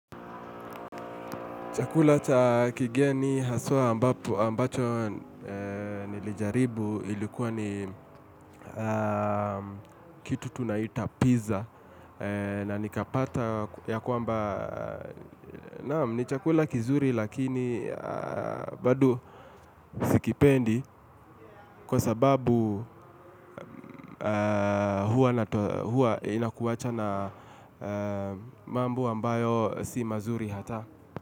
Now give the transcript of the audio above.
Chakula cha kigeni haswa ambapo ambacho nilijaribu ilikuwa ni kitu tunaita pizza na nikapata ya kwamba naam ni chakula kizuri lakini bado sikipendi kwa sababu huwa na huwa inakuwacha na mambo ambayo si mazuri hata.